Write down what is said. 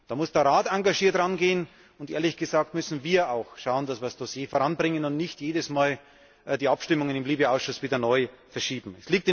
Da muss der Rat engagiert rangehen und, ehrlich gesagt, müssen wir auch schauen, dass wir das Dossier voranbringen und nicht jedes Mal die Abstimmung im LIBE Ausschuss wieder neu verschieben.